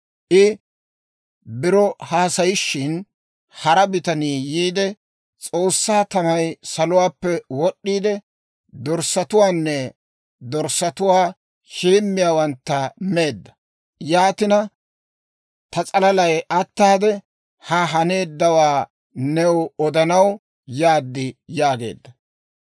I biro haasayishin, hara bitanii yiide, «S'oossaa tamay saluwaappe wod'd'iide, dorssatuwaanne dorssatuwaa heemmiyaawantta meedda. Yaatina, ta s'alalay ataade, ha haneeddawaa new odanaw yaad» yaageedda.